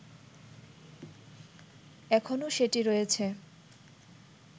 এখনো সেটি রয়েছে